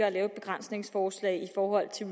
at lave et begrænsningsforslag i forhold til